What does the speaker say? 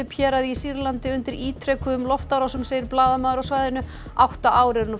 héraði í Sýrlandi undir ítrekuðum loftárásum segir blaðamaður á svæðinu átta ár eru nú frá